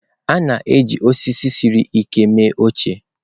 A na-eji osisi siri ike mee oche.